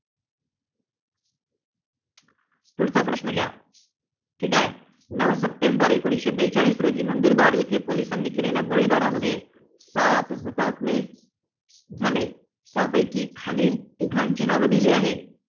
पुढचा प्रश्न घ्या. ठीक आहे? नऊ सप्टेंबर एकोणीसशे बेचाळीस रोजी नंदुरबार येथे पोलिसांनी केलेल्या गोळीबारामध्ये सात हुतात्मे झाले. त्यापैकी खालील तिघांची नावे दिली आहेत.